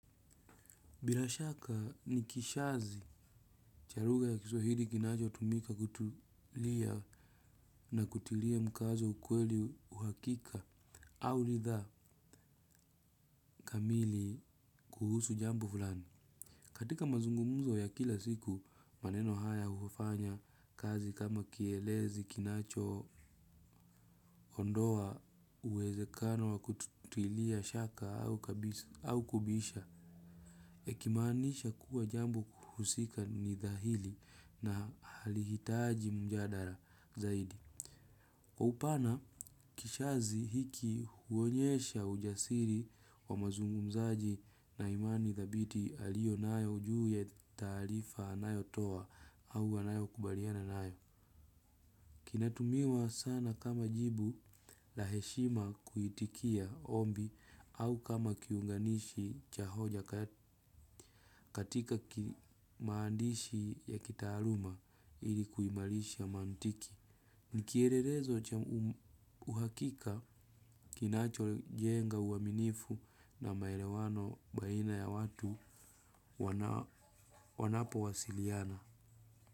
Bila shaka ni kishazi cha lugha ya kiswahidi kinacho tumika kutulia na kutilia mkazo ukweli uhakika au lidha kamili kuhusu jambo fulani. Katika mazungumzo ya kila siku maneno haya ufanya kazi kama kielezi kinacho ondoa uwezekano wa kutilia shaka au kubisha. Ikimaanisha kuwa jambo kuhusika nidhahili na halihitaji mjadala zaidi. Kwa upana kishazi hiki huonyesha ujasiri wa mazungumzaji na imani dhabiti alionayo ujuu ya taarifa anayotoa au anayo kubaliana nayo. Kinatumiwa sana kama jibu la heshima kuitikia ombi au kama kiunganishi cha hoja katika kimaandishi ya kitaaluma ili kuimalisha mantiki. Nkierelezo uhakika kinacho jenga uwaminifu na maelewano baina ya watu wanapo wasiliana.